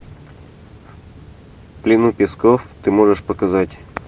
в плену песков ты можешь показать